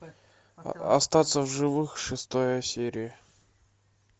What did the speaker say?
остаться в живых шестая серия